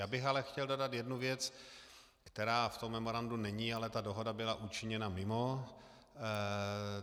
Já bych ale chtěl dodat jednu věc, která v tom memorandu není, ale ta dohoda byla učiněna mimo.